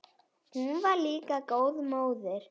Hún var líka góð móðir.